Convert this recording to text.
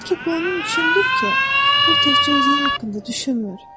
Bəlkə bu onun üçündür ki, o təkcə özü haqqında düşünmür.